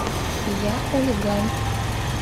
я хулиган